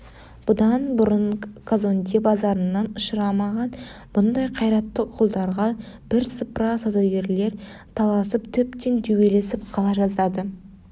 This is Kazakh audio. бұдан бұрын казонде базарынан ұшырамаған мұндай қайратты құлдарға бірсыпыра саудагерлер таласып тіптен төбелесіп қала жаздады